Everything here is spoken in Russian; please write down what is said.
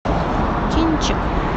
кинчик